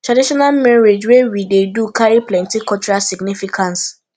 traditional marriage wey we dey do carry plenty cultural significance